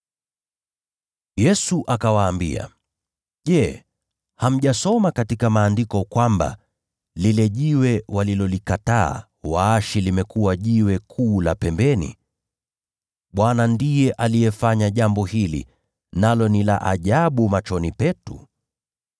Yesu akawaambia, “Je, hamjasoma katika Maandiko kwamba: “ ‘Jiwe walilolikataa waashi limekuwa jiwe kuu la pembeni. Bwana ndiye alitenda jambo hili, nalo ni la ajabu machoni petu’?